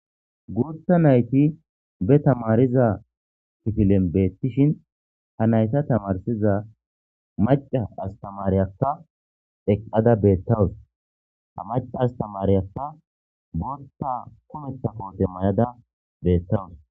guutha nayti be tamariza pifilen beettishin ha nayta tamarsiza maca astamariyakka eqqada beettawus ha maca astamariyakka botta kumeta koote may7ada beettawus